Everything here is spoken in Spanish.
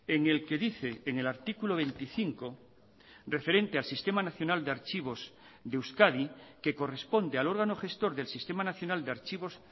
en el que dice en el artículo veinticinco referente al sistema nacional de archivos de euskadi que corresponde al órgano gestor del sistema nacional de archivos